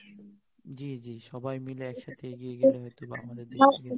জ্বী জ্বী সবাই মিলে একসাথে এগিয়ে গেলে হয়তোবা আমদের দেশের